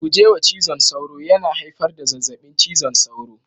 Guje wa cizon sauro, yana haifar da zazzabin cizon sauro